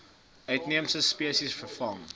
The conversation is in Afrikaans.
uitheemse spesies vervang